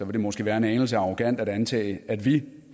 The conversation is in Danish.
det måske være en anelse arrogant at antage at vi